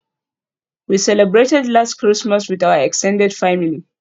We celebrated last Christmas with our extended family.